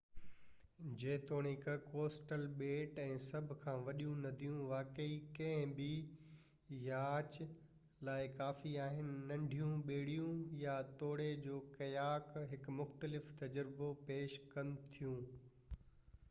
جيتوڻيڪ ڪوسٽل ٻيٽ ۽ سڀ کان وڏيون نديون واقعي ڪنهن به ياچ لاءِ ڪافي آهن ننڍيون ٻيڙيون يا توڙي جو ڪياڪ هڪ مختلف تجربو پيش ڪن ٿيون